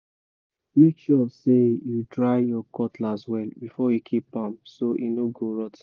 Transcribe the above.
make sure say you dry your cutlass well before you keep am so e no go rot ten